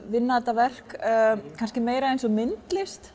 vinna þetta verk meira eins og myndlist